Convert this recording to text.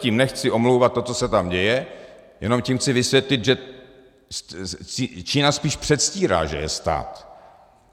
Tím nechci omlouvat to, co se tam děje, jenom tím chci vysvětlit, že Čína spíš předstírá, že je stát.